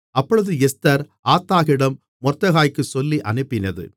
அப்பொழுது எஸ்தர் ஆத்தாகிடம் மொர்தெகாய்க்குச் சொல்லியனுப்பினது